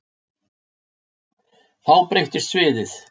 Þá breytist sviðið.